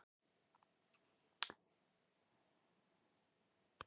Getið þið sagt mér allt um járn?